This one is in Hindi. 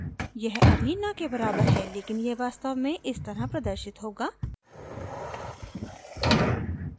यह अभी न के बराबर है लेकिन यह वास्तव में इस तरह प्रदर्शित होगा